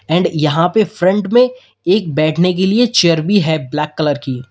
And यहां पे front में एक बैठने के लिए चेयर भी है ब्लैक कलर की।